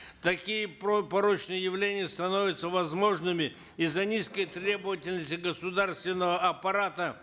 такие порочные явления становятся возможными из за низкой требовательности государственного аппарата